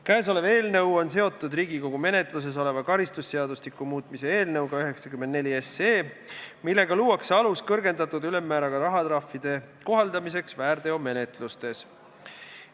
Käesolev eelnõu on seotud Riigikogu menetluses oleva karistusseadustiku muutmise seaduse eelnõuga 94, millega luuakse alus kõrgendatud ülemmääraga rahatrahvide kohaldamiseks väärteomenetlustes.